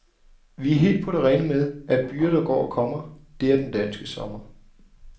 Vi er helt på det rene med, at byger der går og kommer, det er den danske sommer.